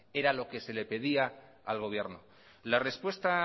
era lo que se le pedía al gobierno la respuesta